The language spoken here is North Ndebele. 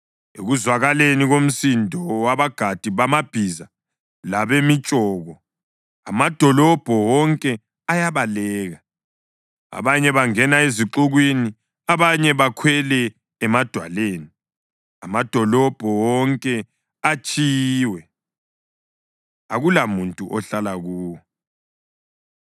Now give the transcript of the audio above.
Ekuzwakaleni komsindo wabagadi bamabhiza labemitshoko amadolobho wonke ayabaleka. Abanye bangena ezixukwini, abanye bakhwele emadwaleni. Amadolobho wonke atshiyiwe, akulamuntu ohlala kuwo.